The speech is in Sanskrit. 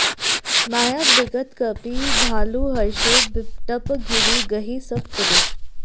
माया बिगत कपि भालु हरषे बिटप गिरि गहि सब फिरे